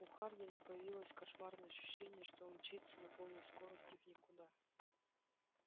у хардина появилось кошмарное ощущение что он мчится на полной скорости в никуда